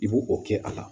I b'o o kɛ a la